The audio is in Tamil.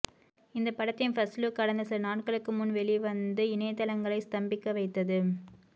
இந்த படத்தின் ஃபர்ஸ்ட்லுக் கடந்த சில நாட்களுக்கு முன் வெளிவந்து இணையதளங்களை ஸ்தம்பிக்க வைத்தது